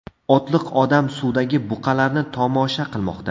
Otliq odam suvdagi buqalarni tomosha qilmoqda.